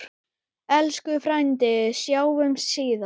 Elsku frændi, sjáumst síðar.